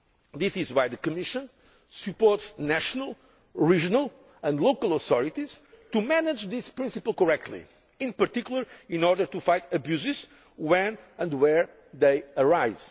This is why the Commission supports national, regional and local authorities in managing this principle correctly, in particular in order to fight abuses when and where they